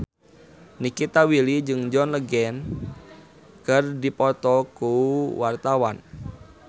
Nikita Willy jeung John Legend keur dipoto ku wartawan